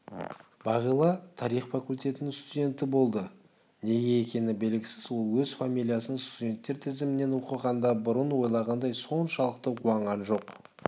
бағила тарих факультетінің студенті болды неге екені белгісіз ол өз фамилиясын студенттер тізімінен оқығанда бұрын ойлағандай соншалықты қуанған жоқ